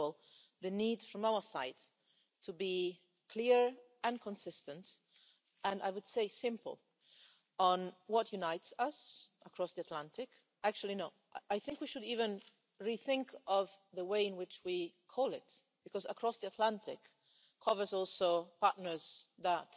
First of all, the need from our side to be clear and consistent and I would say, simple, on what unites us across the Atlantic. Actually, no, I think we should even rethink the way in which we call this because across the Atlantic' also covers partners that